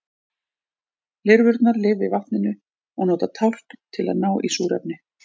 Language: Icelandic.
lirfurnar lifa í vatninu og nota tálkn til að ná í súrefni